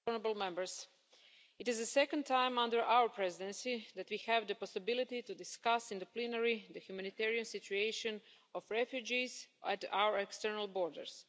Mr President, it is the second time under our Presidency that we have the possibility to discuss in the plenary the humanitarian situation of refugees at our external borders.